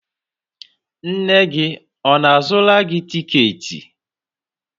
nne gị ọ na-azụra gị tiketi?